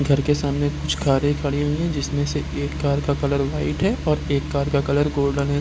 घर के सामने कुछ कारें खड़े हुए हैं जिसमें से एक कार का कलर व्हाइट है और एक कार का कलर गोल्डन है ।